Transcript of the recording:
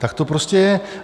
Tak to prostě je.